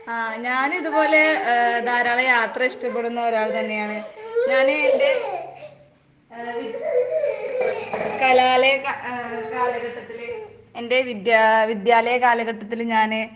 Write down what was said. ആഹ് ഞാനിതുപോലെ ഏ ധാരാളം യാത്ര ഇഷ്ടപ്പെടുന്ന ഒരാൾ തന്നെയാണ്. ഞാന് എന്റെ ഏ വിദ് കലാലയ കാ ഏ കാലഘട്ടത്തിലെ എന്റെ വിദ്യാ വിദ്യാലയ കാലഘട്ടത്തില് ഞാന്